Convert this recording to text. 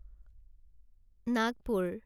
Nagpur